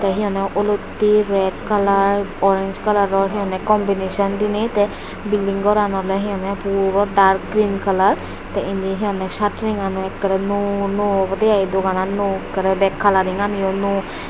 ty hi honde oloitte ret kalar orenj kalaror hi honde kombineson dinei ty bilding goran ole he honde puro dark grin kalar ty indi hi honde satring an o nuo nuo obode i doganan nuo ekkere bek kalaring ani o nuo.